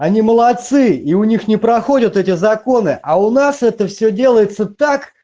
они молодцы и у них не проходят эти законы а у нас это всё делается так